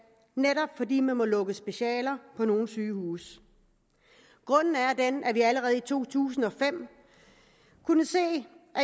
netop fordi man har måttet lukke specialer på nogle sygehuse grunden er den at vi allerede i to tusind og fem kunne se at vi